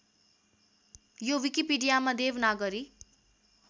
यो विकिपीडियामा देवनागरी